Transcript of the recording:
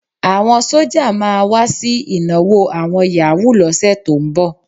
Àwọn sọ́jà máa wá sí ìnáwó àwọn yàwúù lọ́sẹ̀ tó ń bọ̀.